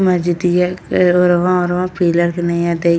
मस्जिदिया के ओरवा ओरवा पिलर के नैया देई --